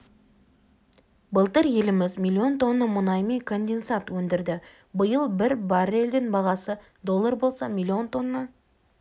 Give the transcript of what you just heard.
былтыр еліміз миллион тонна мұнай мен конденсат өндірді биыл бір баррельдің бағасы доллар болса миллион тонна